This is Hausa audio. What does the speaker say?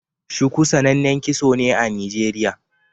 Shuku sanannen kitso ne a Nijeriya.